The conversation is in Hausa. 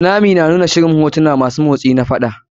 Tunami na nuna shirin hotuna masu motsi na faɗa.